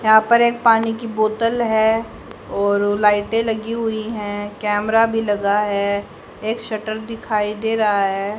यहां पर एक पानी की बोतल है और लाइटें लगी हुई हैं कैमरा भी लगा है एक शटर दिखाई दे रहा है।